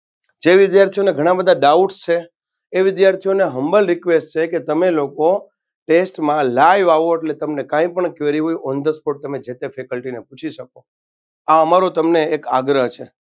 જે વિધાર્થીઓને ઘણા બધ doubts છે એ વિધાર્થીઓન humble request છે કે તમે લોકો test મા live આવો એટલે તમને કાઇ પણ query હો on the sport તમે જેત faculty ને પૂછી શકો આ અમારો તમને એક આગ્રહ છે.